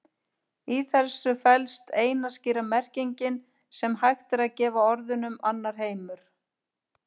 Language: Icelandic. Í þessu felst eina skýra merkingin sem hægt er að gefa orðunum annar heimur.